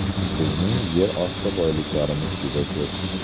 Bizning yer osti boyliklarimiz juda ko‘p.